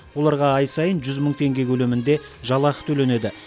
оларға ай сайын жүз мың теңге көлемінде жалақы төленеді